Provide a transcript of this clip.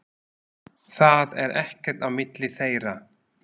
Það er ekkert á milli þeirra.